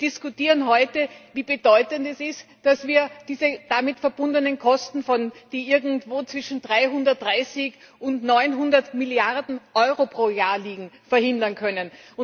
Wir diskutieren heute darüber, wie bedeutend es ist, dass wir diese damit verbundenen Kosten die irgendwo zwischen 330 und 900 Milliarden Euro pro Jahr liegen verhindern können.